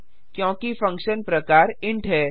क्योंकि फंक्शन प्रकार इंट है